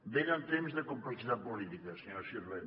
venen temps de complexitat política senyora sirvent